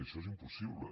això és impossible